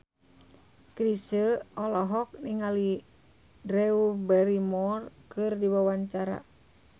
Chrisye olohok ningali Drew Barrymore keur diwawancara